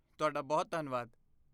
ਤੁਹਾਡਾ ਬਹੁਤ ਧੰਨਵਾਦ!